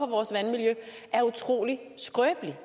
vores vandmiljø er utrolig skrøbelig